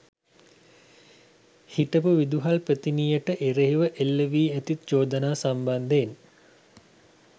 හිටපු විදුහල්පතිනියට එරෙහිව එල්ල වී ඇති චෝදනා සම්බන්ධයෙන්